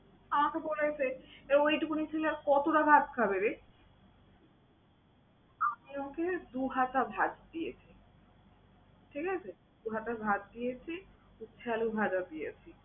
আমাকে বলে গেছে যে এই ঐটুকুনে ছেলে আর কতোটা ভাত খাবে রে? আমি ওকে দু হাতা ভাত দিয়েছি, ঠিক আছে? দু হাতা ভাত দিয়েছি, উস্তা আলু ভাজা দিয়েছি।